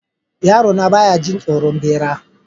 Yarona ba ya jin tsoron bera.